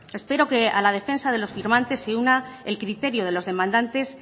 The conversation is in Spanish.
espero que a la defensa de los firmantes se una el criterio de los demandantes